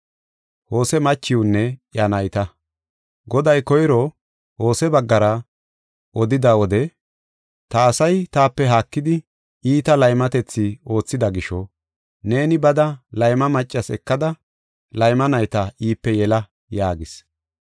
Goday koyro Hose baggara odida wode “Ta asay taape haakidi iita laymatethi oothida gisho, neeni bada, layma maccas ekada layma nayta iipe yela” yaagis.